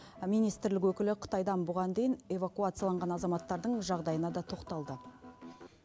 министрлік өкілі қытайдан бұған дейін эвакуацияланған азаматтардың жағдайына да тоқталды